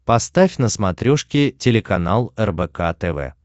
поставь на смотрешке телеканал рбк тв